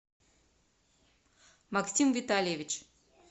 максим витальевич